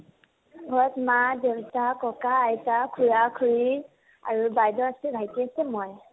ঘৰত মা দেউতা, ককা আইতা, খুড়া খুড়ী আৰু বাইদেউ আছে, ভাইটি আছে মই